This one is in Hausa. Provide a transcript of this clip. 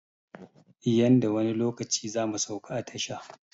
Yanda wani lokaci zamu sauka a tasha